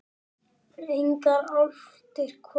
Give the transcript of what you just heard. Engar álftir kvaka.